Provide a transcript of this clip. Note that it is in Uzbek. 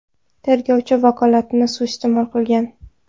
Tergovchi vakolatini suiiste’mol qilgan.